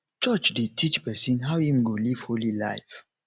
church dey teach pesin how im go live holy life